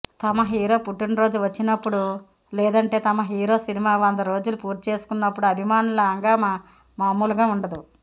తమ హీరో పుట్టినరోజు వచ్చినప్పుడు లేదంటే తమ హీరో సినిమా వంద రోజులు పూర్తిచేసుకున్నప్పుడు అభిమానుల హంగామా మామూలుగా ఉండదు